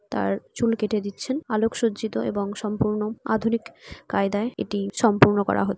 তার চুল কেটে দিচ্ছেন আলোকসজ্জিত এবং সম্পূর্ণ আধুনিক কায়দায় এটি সম্পূর্ণ করা হচ্ছে |